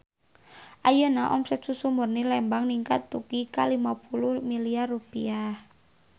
Ayeuna omset Susu Murni Lembang ningkat dugi ka 50 miliar rupiah